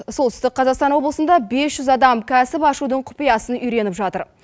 солтүстік қазақстан облысында бес жүз адам кәсіп ашудың құпиясын үйреніп жатыр